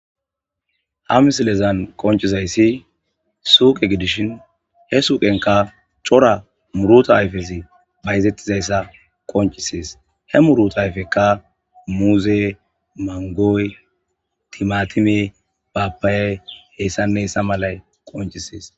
ha misilezan qoncizayssi suuqe gidishin he suuqenka cora muruta ayfesi bayzettizayssa qoncisees he muruta ayfekka muuze mangoy timatime baappayay heyssannessa malay qoncisees